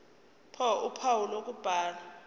ph uphawu lokubhala